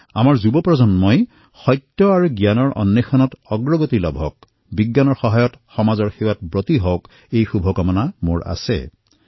আমাৰ যুৱ প্ৰজন্ম সত্য আৰু জ্ঞানৰ অন্বেষণৰ বাবে প্ৰেৰিত হওক বিজ্ঞানৰ সহায়ৰ জৰিয়তে সমাজৰ সেৱা কৰিবলৈ প্ৰেৰিত হওক ইয়াৰ বাবে মই বহু শুভকামনা জনাইছোঁ